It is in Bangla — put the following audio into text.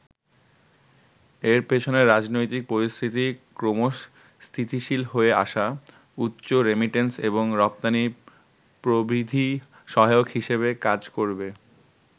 এর পেছনে রাজনৈতিক পরিস্থিতি ক্রমশ স্থিতিশীল হয়ে আসা, উচ্চ রেমিট্যান্স এবং রপ্তানি প্রবৃদ্ধি সহায়ক হিসেবে কাজ করবে।